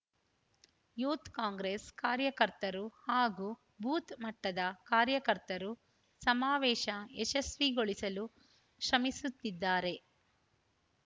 youth Congress ಕಾರ್ಯಕರ್ತರು ಹಾಗೂ booth ಮಟ್ಟದ ಕಾರ್ಯಕರ್ತರು ಸಮಾವೇಶ ಯಶಸ್ವಿಗೊಳಿಸಲು ಶ್ರಮಿಸುತ್ತಿದ್ದಾರೆ